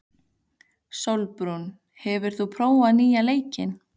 Sólbrún, hefur þú prófað nýja leikinn?